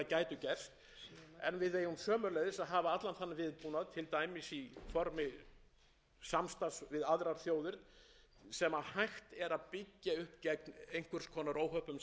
sömuleiðis að hafa allan þann viðbúnað til dæmis í formi samstarfs við aðrar þjóðir sem hægt er að byggja upp gegn einhvers konar óhöppum sem við sjáum ekki beinlínis